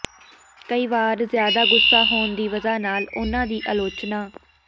ਕਈ ਵਾਰ ਜ਼ਿਆਦਾ ਗੁੱਸਾ ਹੋਣ ਦੀ ਵਜ੍ਹਾ ਨਾਲ ਉਨ੍ਹਾਂ ਦੀ ਆਲੋਚਨ